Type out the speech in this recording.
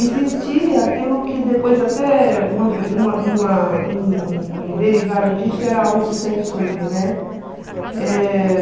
Existia aquilo que depois até uma uma uma um um derivado disso era a autocensura, né? Eh..